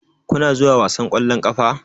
Kuna zuwa wasan ƙwallon ƙafa?